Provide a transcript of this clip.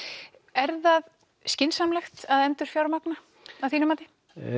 er það skynsamlegt að endurfjármagna að þínu mati